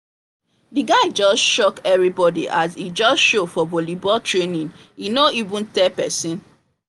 the guy just shock everybody as e just show for volleyball training e no even tell person